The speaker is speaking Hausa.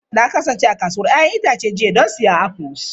Na kasance a kasuwar 'ya'yan itace jiya don siyan afuls.